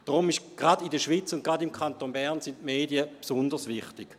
Deshalb sind die Medien gerade in der Schweiz und gerade im Kanton Bern besonders wichtig.